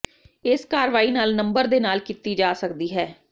ਇਸ ਕਾਰਵਾਈ ਨਾਲ ਨੰਬਰ ਦੇ ਨਾਲ ਕੀਤੀ ਜਾ ਸਕਦੀ ਹੈ